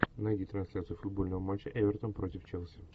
найди трансляцию футбольного матча эвертон против челси